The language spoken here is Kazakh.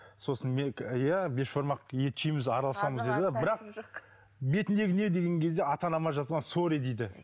сосын иә бешбармақ ет жейміз араласамыз дейді бірақ бетіңдегі не деген кезде ата анама жазған сорри дейді